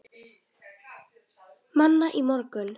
Manna í morgun.